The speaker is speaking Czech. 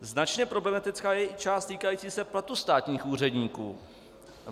Značně problematická je i část týkající se platu státních úředníků.